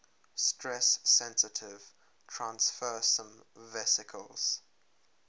stress sensitive transfersome vesicles